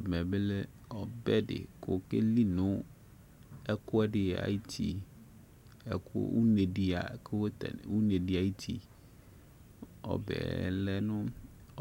Ɛmɛ bi lɛ ɔbɛ di ku okeli nu ɛku ɛdi ayu uti ɛku une di ay ku tɛ une di ayu uti ɔbɛ lɛ nu